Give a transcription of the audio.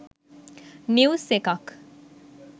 news එකක්